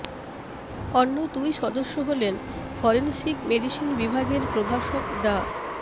অন্য দুই সদস্য হলেন ফরেনসিক মেডিসিন বিভাগের প্রভাষক ডা